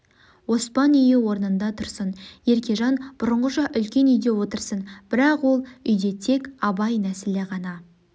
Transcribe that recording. оспан үйі орнында тұрсын еркежан бұрынғыша үлкен үйде отырсын бірақ ол үйде тек абай нәсілі ғана